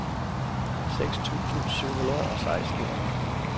seks tusind syv hundrede og seksten